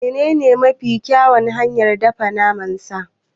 Menene mafi kyawun hanyar dafa naman sa?